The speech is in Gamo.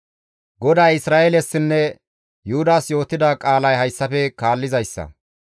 GODAY Isra7eelesinne Yuhudas yootida qaalay hayssafe kaallizayssa.